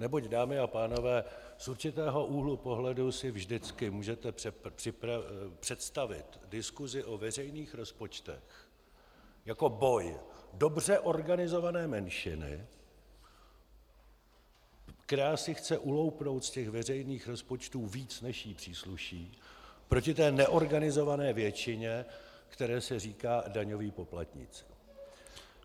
Neboť, dámy a pánové, z určitého úhlu pohledu si vždycky můžete představit diskusi o veřejných rozpočtech jako boj dobře organizované menšiny, která si chce uloupnout z těch veřejných rozpočtů víc, než jí přísluší, proti té neorganizované většině, které se říká daňový poplatník.